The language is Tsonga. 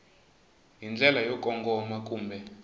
hi ndlela yo kongoma kumbe